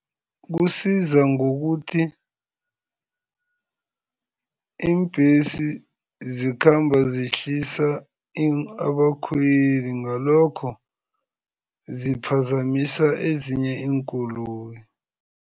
Kusiza ngokuthi iimbhesi zikhamba zihlisa abakhweli ngalokho ziphazamisa ezinye iinkoloyi.